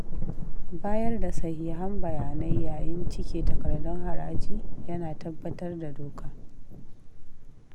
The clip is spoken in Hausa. Bayar da sahihan bayanai yayin cike takardun haraji yana tabbatar da doka.